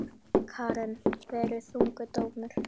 Karen: Verið þungur dómur?